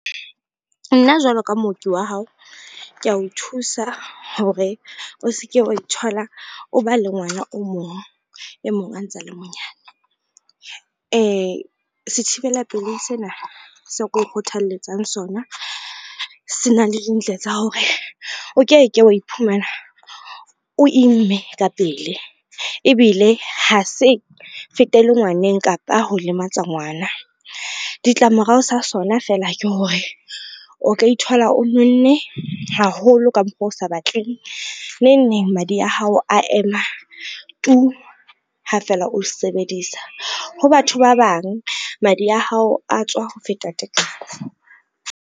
Nna jwalo ka mooki wa hao, kea o thusa hore o se ke wa ithola o ba le ngwana o mong, e mong a ntse a le monyane. Sethibela pelehi sena seo ke kgothalletsang sona, se na le dintle tsa hore o ke ke wa iphumana o imme ka pele ebile ha se fetele ngwaneng kapa ho lematsa ngwana. Ditlamorao sa sona fela ke hore, o ka ithola o nonne haholo ka mokgo o sa batleng neng neng madi a hao a ema tuu ha fela o sebedisa, ho batho ba bang madi a hao a tswa ho feta tekano.